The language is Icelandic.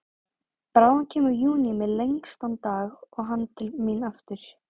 Bráðum kemur júní með lengstan dag og hann til mín aftur.